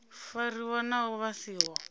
fariwa naho vha si ho